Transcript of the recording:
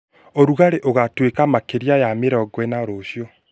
urugari ugatuika makeria ya mĩrongo ĩna rucio